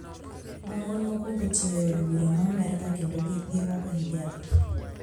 Ma mon mokwongo tiyo e od bura ma Amerka kendo giruako hijab